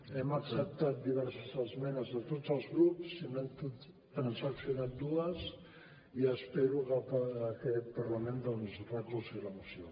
hem acceptat diverses esmenes de tots els grups se n’han transaccionat dues i espero que aquest parlament doncs recolzi la moció